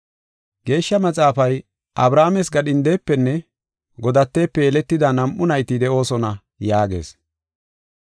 Geeshsha Maxaafay, “Abrahaames gadhindefenne godatefe yeletida nam7u nayti de7oosona” yaagees.